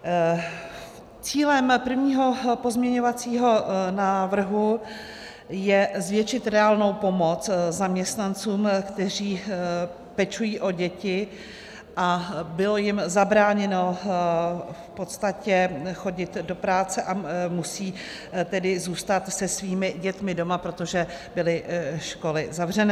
Cílem prvního pozměňovacího návrhu je zvětšit reálnou pomoc zaměstnancům, kteří pečují o děti a bylo jim zabráněno v podstatě chodit do práce, a musí tedy zůstat se svými dětmi doma, protože byly školy zavřené.